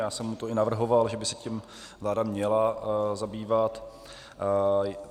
Já jsem mu to i navrhoval, že by se tím vláda měla zabývat.